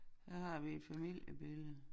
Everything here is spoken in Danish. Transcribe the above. Her har vi et familiebillede